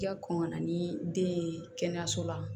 I ka kɔn ka na ni den ye kɛnɛyaso la